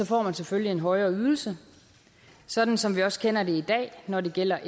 får man selvfølgelig en højere ydelse sådan som vi også kender det i dag når det gælder